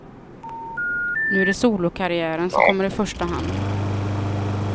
Nu är det solokarriären som kommer i första hand.